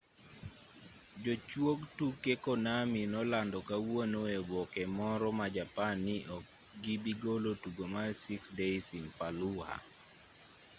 jochuog tuke konami nolando kawuono e oboke moro ma japan ni okgibigolo tugo mar six days in fallujah